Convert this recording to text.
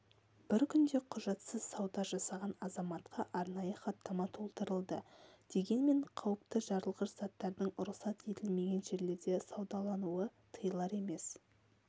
бір күнде құжатсыз сауда жасаған азаматқа арнайы хаттама толтырылды дегенмен қауіпті жарылғыш заттардың рұқсат етілмеген жерлерде саудалануы тыйылар емес